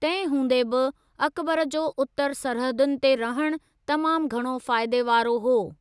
तंहिं हूंदे बि, अकबर जो उत्तर सरहदुनि ते रहणु तमामु घणो फ़ाइदे वारो हो।